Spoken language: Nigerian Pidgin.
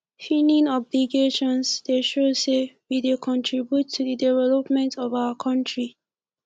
filing obligations dey show say we dey contribute to the development of our country